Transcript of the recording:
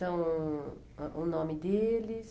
São o ãh o nome deles?